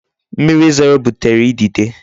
Mmiri zoro butere idide.